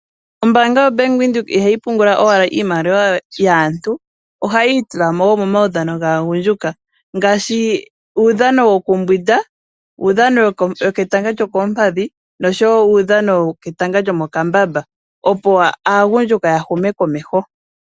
Ombaanga yaVenduka ihayi pungula owala iimaliwa yaantu . Ohayi itulamo woo nomawudhano gaagundjuka ngaashi uudhano wokumbwinda, uudhano wetanga lyokoompadhi noshowo uudhano wetanga lyomokambamba opo aagundjuka ya hume komeho.